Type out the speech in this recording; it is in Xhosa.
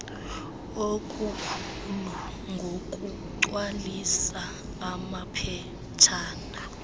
okukhulu ngokugcwalisa amaphetshana